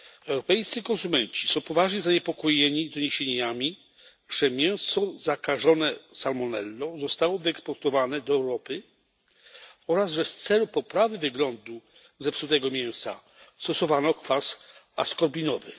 Europejscy konsumenci są poważnie zaniepokojeni doniesieniami, że mięso zakażone salmonellą zostało wyeksportowane do Europy oraz że w celu poprawy wyglądu zepsutego mięsa stosowano kwas askorbinowy.